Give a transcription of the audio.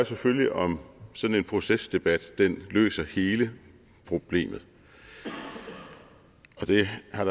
selvfølgelig om sådan en procesdebat løser hele problemet og det har